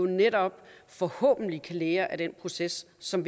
netop forhåbentlig kan lære af den proces som